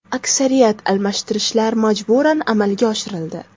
Aksariyat almashtirishlar majburan amalga oshirildi.